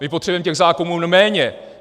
My potřebujeme těch zákonů méně!